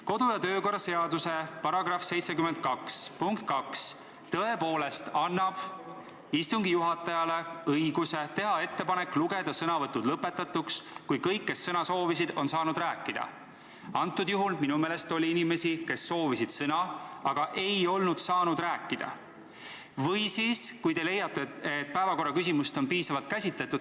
Kodu- ja töökorra seaduse § 72 lõige 2 annab istungi juhatajale õiguse teha ettepanek lugeda sõnavõtud lõpetatuks, kui kõik, kes sõna soovisid, on saanud rääkida – praegusel juhul minu meelest siiski oli inimesi, kes soovisid sõna, aga ei saanud rääkida – või kui te leiate, et päevakorra küsimust on juba piisavalt käsitletud.